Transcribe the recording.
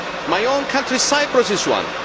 My own country, Cyprus, is one.